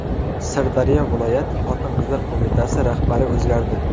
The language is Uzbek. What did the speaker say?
Sirdaryo viloyat xotin-qizlar qo‘mitasi rahbari o‘zgardi.